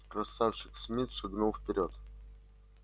красавчик смит шагнул вперёд